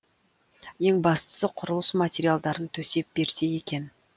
ең бастысы құрылыс материалдарын төсеп берсе екен